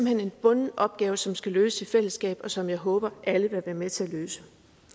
hen en bunden opgave som skal løses i fællesskab og som jeg håber alle vil være med til at løse